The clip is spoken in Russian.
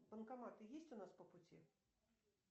банкоматы есть у нас по пути